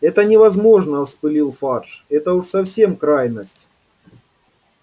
это невозможно вспылил фарж это уж совсем крайность